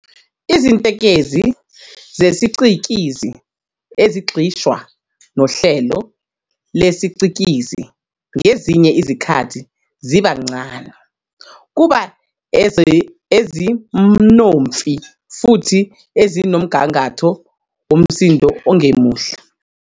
Izinkentezi zesicikizi ezigxishwa nohlelo lesicikizi ngezinye izikhathi ziba ncane, kuba ezimnonfi, futhi nezinomgangatho womsindo ongemuhle.